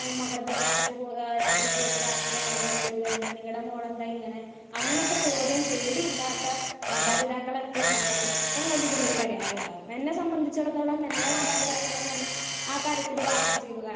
Speaker 1 മകളെ ഇതേ രാത്രി പോയി ഏഹ് രാവിലെ പോയിട്ട് രാത്രിയാണല്ലോ കേറി വരുന്നത് നിങ്ങടെ മോളെന്താ ഇങ്ങനെ അങ്ങനെത്തെ ചോദ്യം പേടി ഇല്ലാത്ത മാതാപിതാക്കൾ എപ്പൊ ഉണ്ടാകുന്നു അപ്പോ മുതൽ ഇതിനൊരു പരിഹാരം ഉണ്ടാകും. എന്നെ സംബന്ധിച്ചിടത്തോളം എൻ്റെ മാതാപിതാക്കളെന്ന് പറഞ്ഞാൽ ആ തരത്തില് ഭാഗ്യം ചെയ്തവരാണ്.